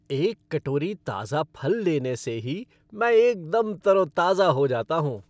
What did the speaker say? एक कटोरी ताजा फल लेने से ही मैं एकदम तरोताजा हो जाता हूँ।